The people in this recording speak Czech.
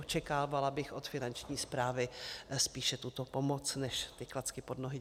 Očekávala bych od Finanční správy spíše tuto pomoc než ty klacky pod nohy.